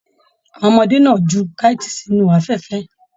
Àwọn ọmọdé náà jù kaiti sínú afẹfẹ.